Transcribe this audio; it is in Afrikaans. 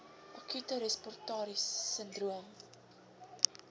akute respiratoriese sindroom